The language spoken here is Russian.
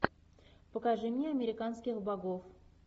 покажи мне американских богов